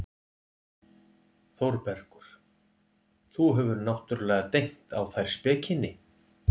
ÞÓRBERGUR: Þú hefur náttúrlega dengt á þær spekinni.